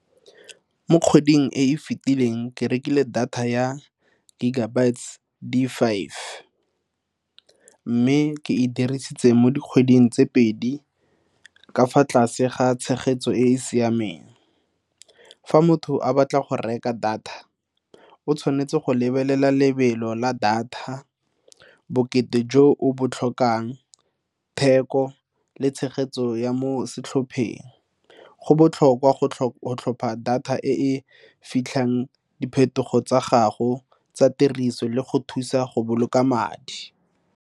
Mo kgweding e e fetileng ke rekile data ya gigabyte di-five mme ke e dirisitse mo dikgweding tse pedi ka fa tlase ga tshegetso e e siameng. Fa motho a batla go reka data o tshwanetse go lebelela lebelo la data bokete jo o bo tlhokang, theko le tshegetso ya mo setlhopheng go botlhokwa go tlhopha data e fitlhang diphetogo tsa gago tsa tiriso le go thusa go boloka madi.